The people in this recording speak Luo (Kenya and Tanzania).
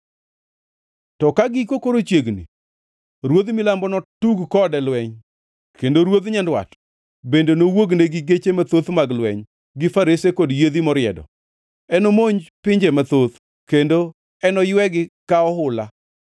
“To ka giko koro chiegni, ruodh Milambo notug kode lweny, kendo ruodh Nyandwat bende nowuogne gi geche mathoth mag lweny, gi farese kod yiedhi moriedo. Enomonj pinje mathoth kendo enoywegi ka ohula.